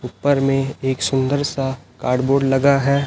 ऊपर में एक सुंदर सा कार्ड बोर्ड लगा है।